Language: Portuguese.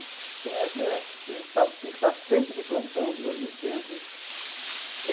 Então, essa a gente tava tinha que estar sempre de plantão, de olho no tempo.